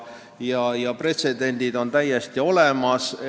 Nii et pretsedendid on täiesti olemas.